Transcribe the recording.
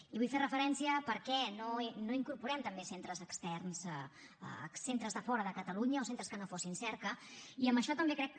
hi vull fer referència perquè no incorporem també centres externs centres de fora de catalunya o centres que no fossin cerca i amb això també crec